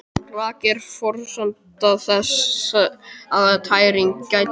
Raki er forsenda þess að tæring geti orðið.